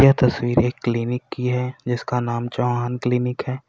यह तस्वीर क्लीनिक की है जिसका नाम चौहान क्लिनिक है।